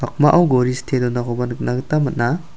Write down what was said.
gori stee donakoba nikna gita man·a.